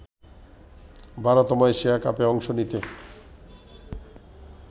১২তম Asia কাপে অংশ নিতে